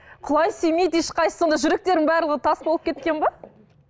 құлай сүймейді ешқайсысы сонда жүректерінің барлығы тас болып кеткен бе